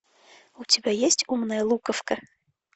у тебя есть умная луковка